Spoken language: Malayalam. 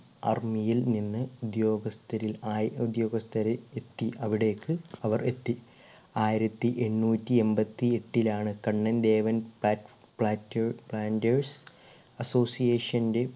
army യിൽ നിന്ന് ഉദ്യോഗസ്‌ഥരെ ആയി ഉദ്യോഗസ്ഥരെ എത്തി അവിടേക്ക് അവർ എത്തി ആയിരത്തി എണ്ണൂറ്റി എമ്പത്തി എട്ടിൽ ആണ് കണ്ണൻ ദേവൻ ഫാറ്റ് പ്ലാറ്റ planter association ൻ്റെ